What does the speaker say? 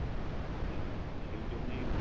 উম সেইজন্যেই